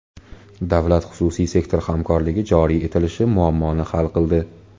Davlat-xususiy sektor hamkorligi joriy etilishi muammoni hal qildi.